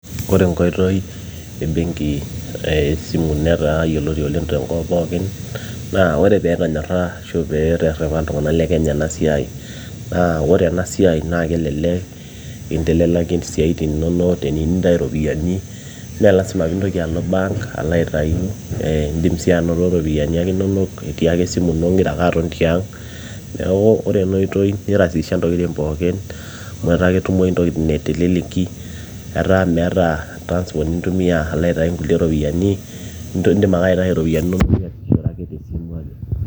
ore enkoitoi ebenki eh esimu netaa yioloti oleng tenkop pookin na ore peetonyorra ashu peeterrepa iltung'anak le kenya ena siai naa ore ena siai naa kelelek intelelaki isiaitin inonok teniu nintayu iropiyiani meelasima piintoki alo bank alo aitayu eh indim sii anoto iropiyiani ake inonok etii ake esimu ino ingira ake aton tiang neeku ore enoitoi nirasisha ntokitin pookin amu etaa ketmoyu intokitin teleleki etaa meeta transport nintumia alo aitai inkulie ropiyiani indim ake aitai iropiyiani inonok niasishore ake tesimu ake.